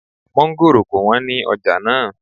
Mọ́ngòrò ko wọ́n ní ọjà náà